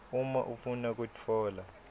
uma ufuna kutfola